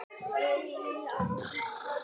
Dregur samt strax í land.